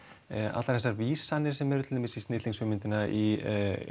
allar þessar vísanir sem eru til dæmis í snillingshugmyndina í